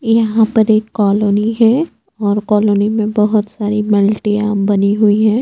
यहाँ पर एक कॉलोनी है और कॉलोनी में बोहोत सारी मल्टियाँ बनी हुई हैं।